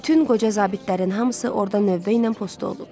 Bütün qoca zabitlərin hamısı orda növbə ilə postu olub.